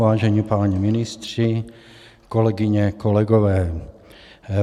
Vážení páni ministři, kolegyně, kolegové.